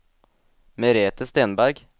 Merethe Stenberg